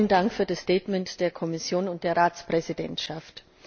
Vielen Dank für das Statement der Kommission und der Ratspräsidentschaft!